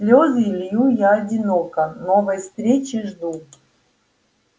слезы лью я одиноко новой встречи жду